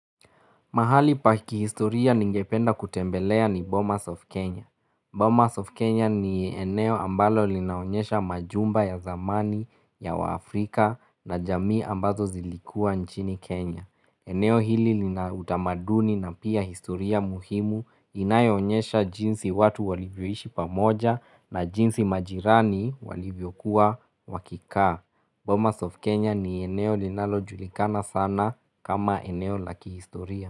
Mahali pa kihistoria ningependa kutembelea ni Bomas of Kenya. Bomas of Kenya ni eneo ambalo linaonyesha majumba ya zamani ya wa Afrika na jamii ambazo zilikua nchini Kenya. Eneo hili lina utamaduni na pia historia muhimu inayo onyesha jinsi watu walivyoishi pamoja na jinsi majirani walivyo kuwa wakikaa. Bomas of Kenya ni eneo linalojulikana sana kama eneo laki historia.